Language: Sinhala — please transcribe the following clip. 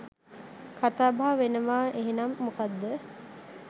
කතාබහ වෙනවාඑහෙනම් මොකද්ද?